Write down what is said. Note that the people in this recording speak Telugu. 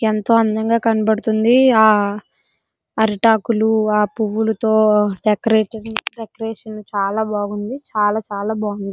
ఎంతో అందంగా కనబడుతుంది ఆ అరిటాకులు పువ్వులతో డెకరేషన్ చాలా బాగుంది చాలా చాలా బాగుంది.